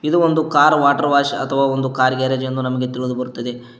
ಇದು ಒಂದು car water wash ಅಥವಾ ಒಂದು ಕಾರ್ ಗ್ಯಾರೇಜ್ ಎಂದು ನಮಗೆ ತಿಳಿದು ಬರುತ್ತದೆ.